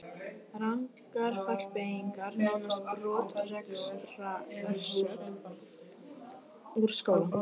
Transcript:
Rangar fallbeygingar nánast brottrekstrarsök úr skóla.